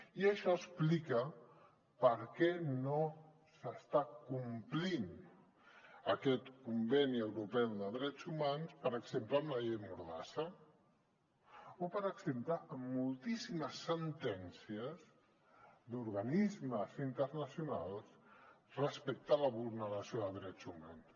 i això explica per què no s’està complint aquest conveni europeu de drets humans per exemple amb la llei mordassa o per exemple amb moltíssimes sentències d’organismes internacionals respecte a la vulneració de drets humans